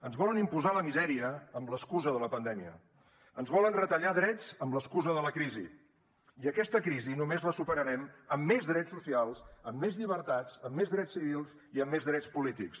ens volen imposar la misèria amb l’excusa de la pandèmia ens volen retallar drets amb l’excusa de la crisi i aquesta crisi només la superarem amb més drets socials amb més llibertats amb més drets civils i amb més drets polítics